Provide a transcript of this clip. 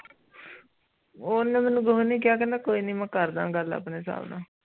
ਓਨਾ ਮੇਨੂ ਕੁਜ ਨੀ ਕੀਆ ਕਹਿੰਦਾ ਕੋਈ ਨੀ ਮੈਂ ਕਰਦਾ ਗੱਲ ਆਪਣੇ ਹਿਸਾਬ ਨਾਲ